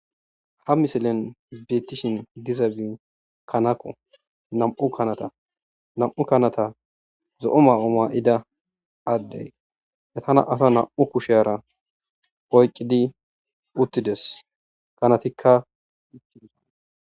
ha misilen beettishin dizabi kanako nam7u kanata nam7u kanata zo7o ma7o maa7ida addey yatana asa nam7u kushe ara poyqqidi uttides kanatikka